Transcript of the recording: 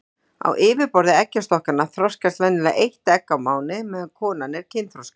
Á yfirborði eggjastokkanna þroskast venjulega eitt egg á mánuði meðan konan er kynþroska.